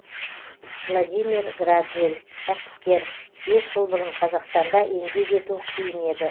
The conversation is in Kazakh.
владимир градзель кәсіпкер бес жыл бұрын қазақстанда еңбек ету қиын еді